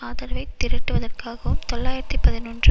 ஆதரவை திரட்டுவதற்காகவும் தொள்ளாயிரத்து பதினொன்று